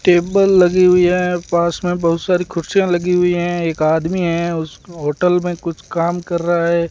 Table लगी हुई है पास में बहुत सारी कुर्सियां लगी हुई है एक आदमी है उसे होटल में कुछ काम कर रहा है।